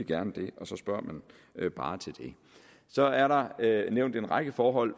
gerne det så spørger man bare til det så er der nævnt en række forhold